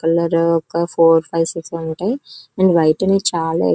ఇక్కడ four five six ఉంటాయి. And white we చాలా ఎక్కువ --